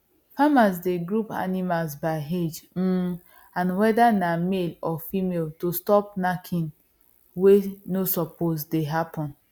farmers dey group animals by age um and whether na male or female to stop knacking wey no suppose dey happen